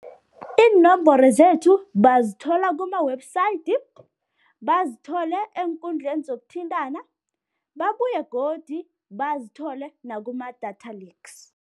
Iinomboro zethu bazithola kuma-website, bazithole eenkundleni zokuthintana, babuye godu bazithole nakuma-data leaks.